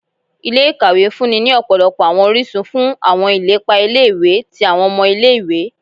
Ilé-ìkàwé ń fúnni ní ọ̀pọ̀lọpọ̀ àwọn orísun fún àwọn ilepa ilé-ìwé tí àwọn ọmọ ilé-ìwé